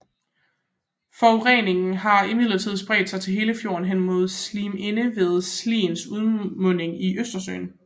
Forureningen har imidlertid spredt sig til hele fjorden hen imod Sliminde ved Sliens udmunding til Østersøen